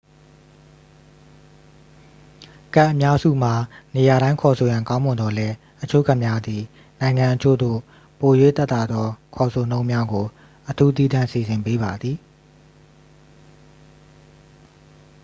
ကတ်အများစုမှာ နေရာတိုင်း ခေါ်ဆိုရန် ကောင်းမွန်သော်လည်း အချို့ကတ်များသည် နိုင်ငံအချို့သို့ ပို၍သက်သာသော ခေါ်ဆိုနှုန်းများကို အထူးသီးသန့် စီစဉ်ပေးပါသည်